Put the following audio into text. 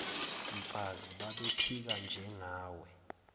mfazi babephika njengawe